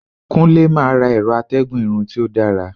Kunle ma ra ẹrọ atégùn Irun ti o dara